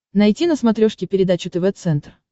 найти на смотрешке передачу тв центр